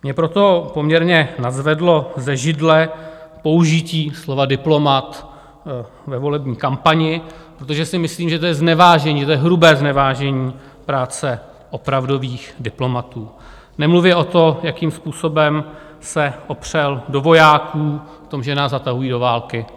Mě proto poměrně nadzvedlo ze židle použití slova diplomat ve volební kampani, protože si myslím, že to je znevážení, že to je hrubé znevážení práce opravdových diplomatů, nemluvě o tom, jakým způsobem se opřel do vojáků, o tom, že nás zatahují do války.